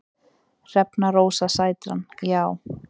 Hrefna Rósa Sætran: Já.